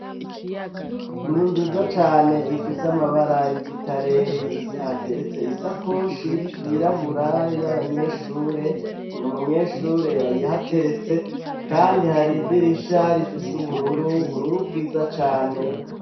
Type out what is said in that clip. inzu nziza cane ifise amabara y'igitare hateretse isakoshi yirabura y'abanyeshure, n' umunyeshure yayihateretse kandi hari idirisha rifise ubururu ,ubururu bwiza cane.